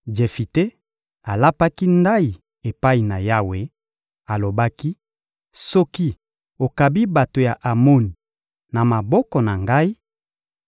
Jefite alapaki ndayi epai na Yawe, alobaki: «Soki okabi bato ya Amoni na maboko na ngai,